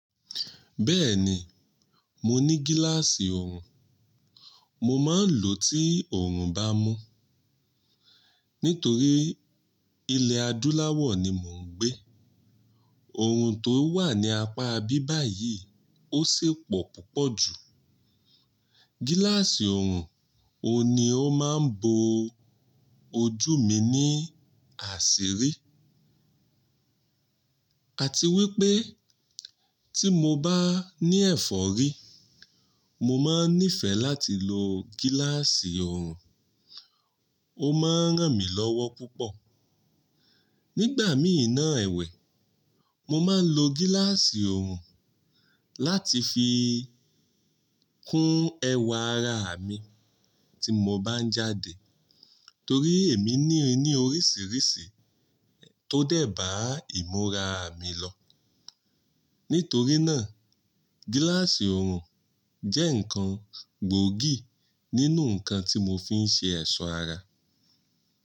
Bẹ́ẹ̀ni, mo ní gíláàsì oorun. Mo máa ń lò ó tí oorun bá mọ́. Nítorí ilẹ̀ adúláwọ̀ ni mò ń gbé. Oorun tó wà ní apá ibi báyìí ó sipo púpọ̀ jù. Gíláàsì oorun, òun ni ó máa ń bo ojú mi ní àṣírí. Àti wípé tí mo bá ní ẹ̀fọ́rí, mo máa ń nífẹ̀ẹ́ láti lo gíláàsì oorun. Ó máa ń ràn mí lọ́wọ́ púpọ̀. Nígbà míì náà èwẹ̀, mo máa ń lo gíláàsì oorun láti fi kún ẹwà ara mi tí mo bá ń jáde. Torí èmi ní ni e oríṣiríṣi tó dẹ̀ bá ìmúra mi lọ. Nítorí náà, gíláàsì oorun jẹ́ ǹkan gbòógì nínú ǹkan tí mo fi ń ṣe ẹ̀ṣọ́ ara.